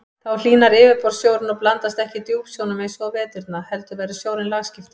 Þá hlýnar yfirborðssjórinn og blandast ekki djúpsjónum eins og á veturna heldur verður sjórinn lagskiptur.